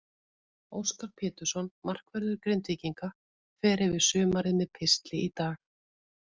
Óskar Pétursson, markvörður Grindvíkinga, fer yfir sumarið með pistli í dag.